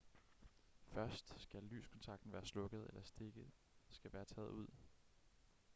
først skal lyskontakten være slukket eller stikket skal være taget ud